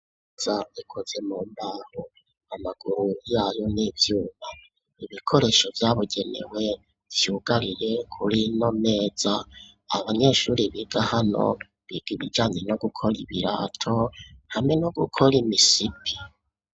Imeza ikoze mu mbaho amaguru yayo n'ivyuma ibikoresho vyabugenewe vyugariye kurino meza abanyeshuri biga hano biga ibijanye no gukora ibirato hamwe no gukora imisipi.